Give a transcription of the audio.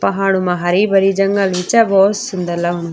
पहाड़ो मा हरी-भरी जंगल भी च भोत सुन्दर लगणु।